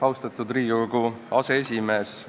Austatud Riigikogu aseesimees!